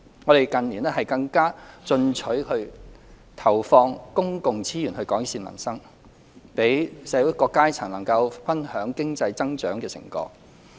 我們近年更加進取地投放公共資源改善民生，讓社會各階層能夠分享經濟增長的成果。